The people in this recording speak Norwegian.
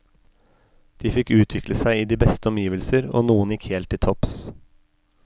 De fikk utvikle seg i de beste omgivelser, og noen gikk helt til topps.